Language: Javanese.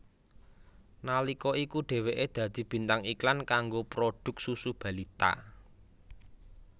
Nalika iku dheweke dadi bintang iklan kanggo produk susu balita